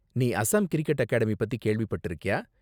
நீ Assam cricket academy பத்தி கேள்விப்பட்டிருக்கியா?